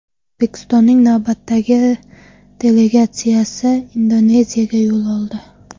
O‘zbekistonning navbatdagi delegatsiyasi Indoneziyaga yo‘l oldi .